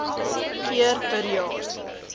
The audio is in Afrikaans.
keer per jaar